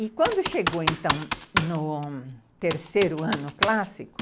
E quando chegou, então, no terceiro ano clássico,